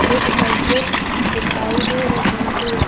एक मस्जिददिखाई दे रही है।